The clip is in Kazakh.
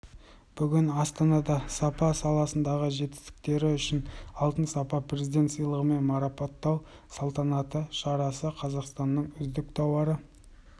бүгін астанада сапа саласындағы жетістіктері үшін алтын сапа президент сыйлығымен марапаттау салтанатты шарасы қазақстанның үздік тауары